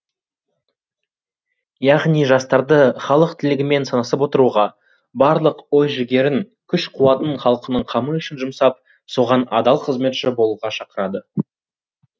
яғни жастарды халық тілегімен санасып отыруға барлық ой жігерін күш қуатын халқының қамы үшін жұмсап соған адал қызметші болуға шақырады